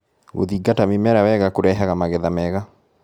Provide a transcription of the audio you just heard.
Gũthingata mĩmera wega kũrehaga magetha mega.